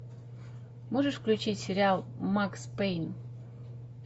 можешь включить сериал макс пейн